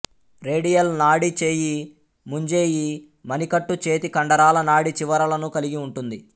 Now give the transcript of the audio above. radial నాడి చేయి ముంజేయి మణికట్టు చేతి కండరాల నాడీ చివరలను కలిగి ఉంటుంది